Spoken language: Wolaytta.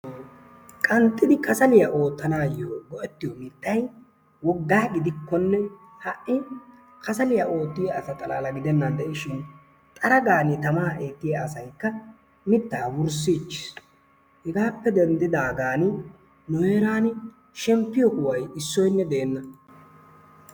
Qanxxiidi kasaliyaa ottanayoo go"ettiyoo miittay woggaa gidikkonne ha'i kasaliyaa oottiyaa asa xalaala gidenan de'ishin xaraagan tamaa eettiyaa asayikka mittaa wurssichchiis. Hegaappe denddigaan nu heeran semppiyoo kuuway issoynne deenna.